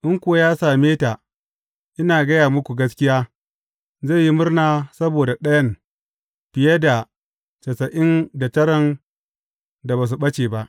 In kuwa ya same ta, ina gaya muku gaskiya, zai yi murna saboda ɗayan fiye da tasa’in da taran da ba su ɓace ba.